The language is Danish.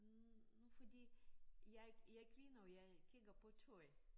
Hm nu fordi jeg jeg griner jo jeg kigger på tøj